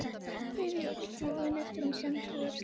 Beið í ofvæni eftir að hún kæmi sér að efninu.